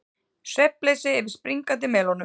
Svefnleysi yfir springandi melónum